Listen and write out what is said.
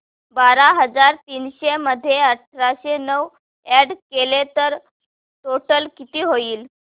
बारा हजार तीनशे मध्ये आठशे नऊ अॅड केले तर टोटल किती होईल